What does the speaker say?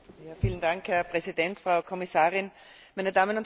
Herr Präsident, Frau Kommissarin, meine Damen und Herren!